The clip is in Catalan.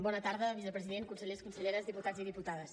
bona tarda vicepresident consellers conselleres diputats i diputades